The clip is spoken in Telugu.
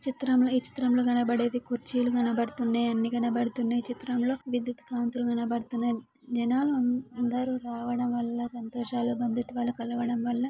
చిత్రంలో ఈ చిత్రంలో కనబడేది కుర్చీలు కనబడుతున్నాయి. అన్ని కనబడుతున్నాయి. చిత్రంలో విద్యుత్ కాంతులు కనబడుతున్నాయి. జనాలందరూ రావడం వల్ల సంతోషాలు బంధుత్వాలు కలగడం వల్ల--